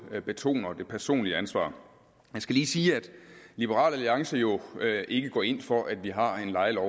betoner det personlige ansvar jeg skal lige sige at liberal alliance jo ikke går ind for at vi har en lejelov